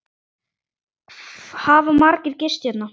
Hafa margir gist hérna?